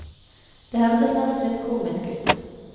Det hørtes nesten litt komisk ut.